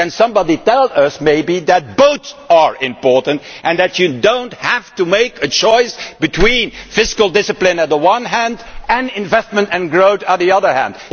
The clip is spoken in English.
Can somebody, perhaps, tell us that both are important, and that you do not have to make a choice between fiscal discipline, one the one hand, and investment and growth, on the other hand?